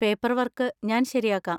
Paperwork ഞാൻ ശരിയാക്കാം.